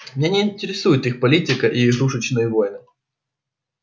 меня не интересует их политика и игрушечные войны